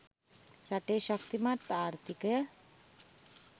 රටේ ශක්තිමත් ආර්ථිකය